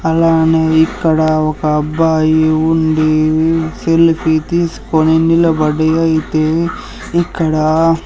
అలానే ఇక్కడ ఒక అబ్బాయి ఉండి సెల్ఫీ ఉ తీసుకొని నిలబడి అయితే ఇక్కడా--